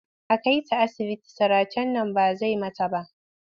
A kai ta asibiti siracen nan ba zai mata ba.